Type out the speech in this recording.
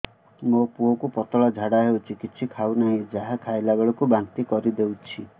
ମୋ ପୁଅ କୁ ପତଳା ଝାଡ଼ା ହେଉଛି କିଛି ଖାଉ ନାହିଁ ଯାହା ଖାଇଲାବେଳକୁ ବାନ୍ତି କରି ଦେଉଛି